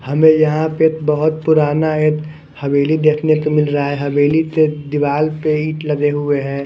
हमें यहाँ पे बहुत पुराना एक हवेली देखने को मिल रहा है हवेली के दीवार पे ईट लगे हुए हैं।